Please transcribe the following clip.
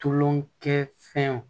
Tulonkɛ fɛnw